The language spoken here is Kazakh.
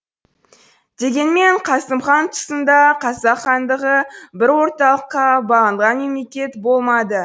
дегенмен қасым хан тұсында қазақ хандығы бір орталыққа бағынған мемлекет болмады